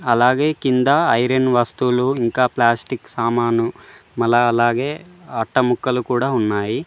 అలాగే కింద ఐరన్ వస్తువులు ఇంకా ప్లాస్టిక్ సామాను మల అలాగే అట్టముక్కలు కూడా ఉన్నాయి.